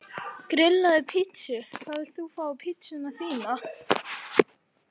Grillaði pizzu Hvað vilt þú fá á pizzuna þína?